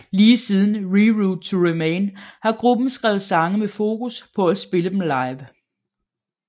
Lige siden Reroute to Remain har gruppen skrevet sange med fokus på at kunne spille dem live